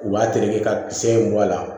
U b'a terete ka kisɛ in bɔ a la